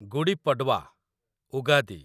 Gudi Padwa , Ugadi